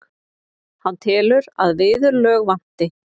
Hann telur að viðurlög vanti.